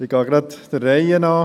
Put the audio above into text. Ich gehe der Reihe nach.